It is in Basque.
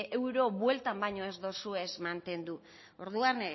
euro bueltan baino ez dozuez mantendu orduan